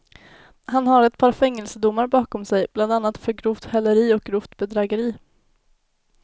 Han har ett par fängelsedomar bakom sig, bland annat för grovt häleri och grovt bedrägeri.